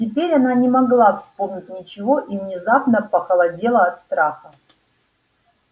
теперь она не могла вспомнить ничего и внезапно похолодела от страха